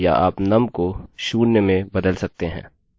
हमें 0 से 9 तक मिला